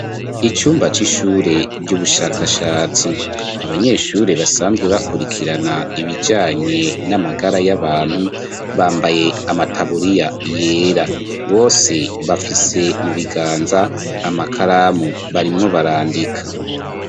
icumba c'ishure ry'ubushakashatsi, abanyeshure basanzwe bakurikirana ibijanye n'amagara y'abantu, bambaye amataburiya yera, bose bafise mu biganza amakaramu barimwo barandika.